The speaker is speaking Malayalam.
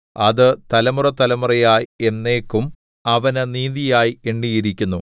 അത് തലമുറതലമുറയായി എന്നേക്കും അവന് നീതിയായി എണ്ണിയിരിക്കുന്നു